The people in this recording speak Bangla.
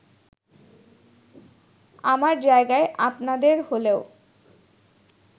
আমার জায়গায় আপনাদের হলেও